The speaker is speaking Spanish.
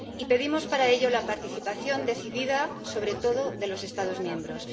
Y pedimos para ello la participación decidida, sobre todo de los Estados miembros.